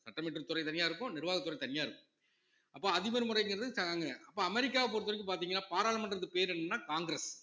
சட்டம் இயற்றும் துறை தனியா இருக்கும் நிர்வாகத்துறை தனியா இருக்கும் அப்ப அதிபர் முறைங்கிறது அப்ப அமெரிக்காவை பொறுத்தவரைக்கும் பாத்தீங்கன்னா பாராளுமன்றத்து பேர் என்னன்னா காங்கிரஸ்